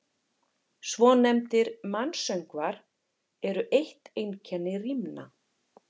Svonefndir mansöngvar eru eitt einkenni rímna.